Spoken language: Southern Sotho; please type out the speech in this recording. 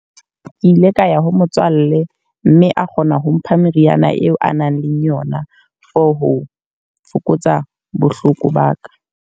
Ke ile ka ya ho motswalle, mme a kgona ho mpha meriana eo a nang le yona for ho fokotsa bohloko ba ka.